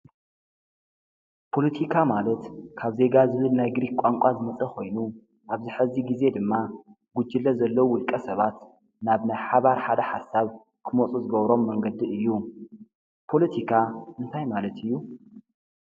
ፖለቲካ ማለት ካብ ዜጋ ዝብል ናይ ግሪኽ ቋንቋ ዝመጽ ኾይኑ ኣብዝ ሕዚ ጊዜ ድማ ጕጅለ ዘለዉ ውልቀ ሰባት ናብ ናይ ሓባር ሓደ ሓሳብ ክሞፁ ዝገብሮም መንገድ እዩ። ፖለቲካ እንታይ ማለት እዩ?